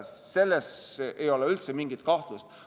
Selles ei ole üldse mingit kahtlust.